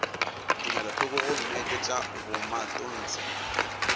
tumelothoko gomme ke tša bomatontshe